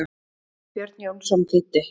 Björn Jónsson þýddi.